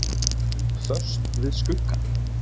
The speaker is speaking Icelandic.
Föst við skuggann.